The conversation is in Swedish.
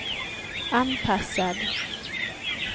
anpassad